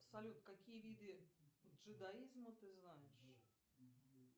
салют какие виды джедаизма ты знаешь